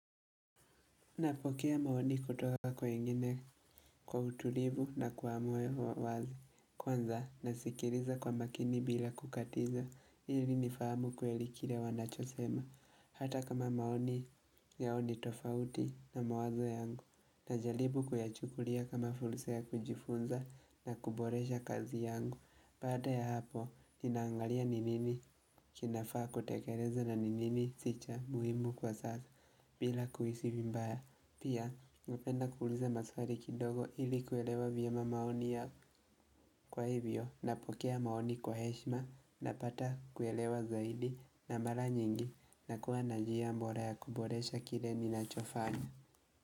Napokea maoni kutoka kwa wengine kwa utulivu na kwamoyo wazi. Kwanza nasikiriza kwa makini bila kukatiza. Hili nifahamu kweli kile wanachosema. Hata kama maoni yao ni tofauti na mawazo yangu. Najalibu kuyachukulia kama fulsa kujifunza na kuboresha kazi yangu. Baada ya hapo, ninaangalia ni nini kinafaa kutekeleza na ni nini sicha muhimu kwa sasa. Bila kuhisi vibaya. Pia, napenda kuuliza maswali kidogo ili kuelewa vyema maoni yao kwa hivyo na pokea maoni kwa heshma na pata kuelewa zaidi na mara nyingi na kuwa najia mbora ya kuboresha kile ni nachofanya.